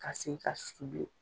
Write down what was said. Ka segi k'a susu bile